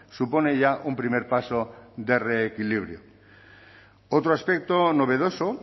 supone ya un primer paso de reequilibrio otro aspecto novedoso